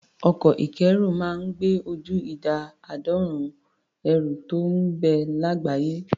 Ọkọ̀ ìkẹ́rù máa ń gbé ju ìdá àádọ́rùn-ún ẹrù tó ń bẹ lágbàáyé.